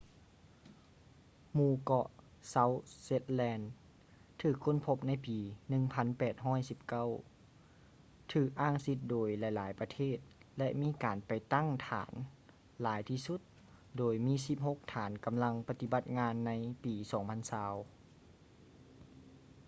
ໝູ່ເກາະ ເຊົາທ໌ ເຊັດແລນ south shetland ຖືກຄົ້ນພົບໃນປີ 1819 ຖືກອ້າງສິດໂດຍຫຼາຍໆປະເທດ ແລະ ມີການໄປຕັ້ງຖານຫຼາຍທີ່ສຸດ ໂດຍມີສິບຫົກຖານກໍາລັງປະຕິບັດງານໃນປີ 2020